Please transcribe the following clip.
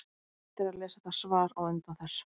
Ágætt er að lesa það svar á undan þessu.